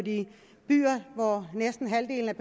byer hvor næsten halvdelen af